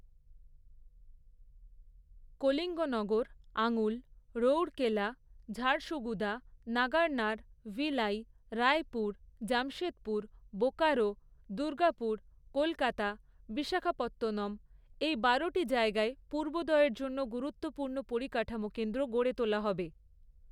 কলিঙ্গনগর, আঙ্গুল, রৌঢ়কেলা, ঝাড়সুগুদা, নাগারনার, ভিলাই, রায়পুর, জামশেদপুর, বোকারো, দুর্গাপুর, কলকাতা, বিশাখাপত্তনম এই বারোটি জায়গায় পূর্বোদয়ের জন্য গুরুত্বপূর্ণ পরিকাঠামো কেন্দ্র গড়ে তোলা হবে।